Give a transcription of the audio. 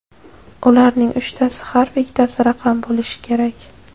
Ularning uchtasi harf, ikkitasi raqam bo‘lishi kerak.